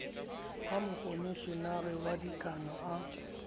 ha mokomeshenara wa dikano a